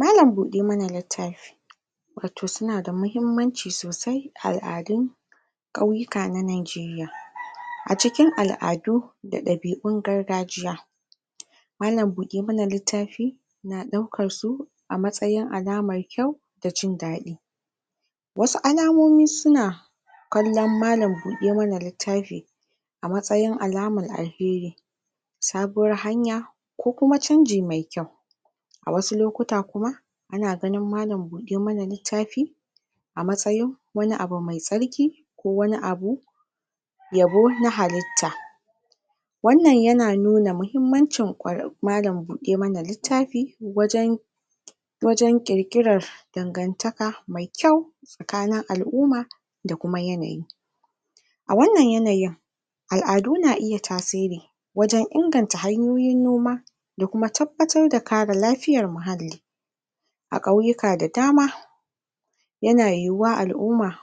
Malam-buɗe-ma-na-littafi wato su na da mahimmanci sosai, al'adun ƙauyuka na Nigeria. A cikin al'adu da ɗabi'un gargajiya malam-buɗe-ma-na-littafi na ɗaukar su a matsayin alamar kyau da jin daɗi, wasu alamomi su na kallon malam-buɗe-ma-na-littafi a matsayin alamar alheri, sabuwar hanya ko kuma canji mai kyau. A wasu lokuta kuma ana ganini malam-buɗe-ma-na-littati a matsayin wani abu mai tsarki ko wani abun yabo na halitta, wannan ya na nuna mahimmancin malam-buɗe-ma-na-littafi wajen wajen ƙirƙirar dangantaka mai kyau tsakanin al'umma da kuma yanayi, a wannan yanayin al'adu na iya tasiri wajen inganta hanyoyin noma da kuma tabbatar da kare lafiyar muhalli, a ƙauyuka da dama yana yiwuwa al'umma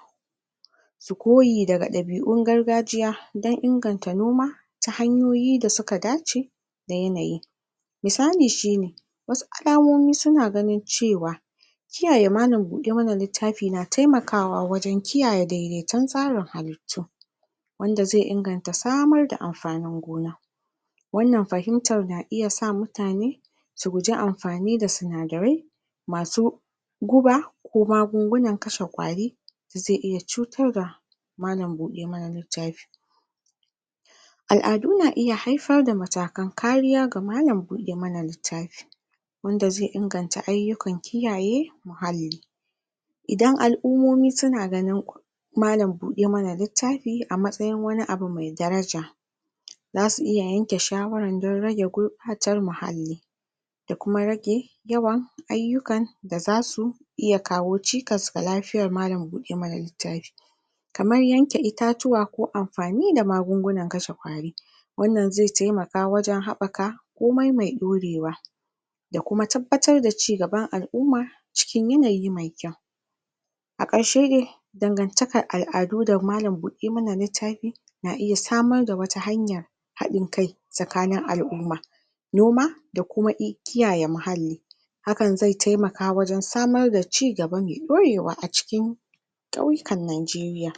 su yi koyi da ɗabi'un gargajiya don inganta noma ta hanyoyi da su ka dace da yanayi misali Sh ine: wasu alamomi su na ganin ce wa kiyaye malam-buɗe-ma-na-littafi na taimakawa wajen kiyayen daidaiton tsarin halittu, wanda zai inganta samar da amfanin gona, wannan fahimtar na iya sa mutane su guji amfani da sinadarai ma su guba ko magungunan kashe ƙwari da zai iya cutar da malam-buɗe-ma-na-littafi. Al'adu na iya haifar da matakan kariya ga malam-buɗe-ma-na-littafi, wanda zai inganta ayyukan kiyaye muhalli, idan al'ummomi su na ganin malam-buɗe-ma-na-littafi a matsayin wani abu mai daraja, za su yanke shawara don rage gurɓatar muhalli, da kuma rage yawan ayyukan da za su iya kawo cikas ga lafiyar malam-buɗe-ma-na-littafi, kamar yanke itatuwa ko amfani da magungunan kashe ƙwari, wannan zai taimaka wajen haɓaka komai mai ɗorewa da kuma tabbatar da cigaban al'umma cikin yanayi mai kyau, a ƙarshe dai dangantakar al'adu da malam-buɗe-ma-na-littafi na iya samar da wata hanya, haɗin kai tsakanin al'umma, noma, da kuma kiyaye muhalli, hakan zai taimaka wajen samar da cigaba mai ɗorewa a cikin ƙauyukan Nigeria.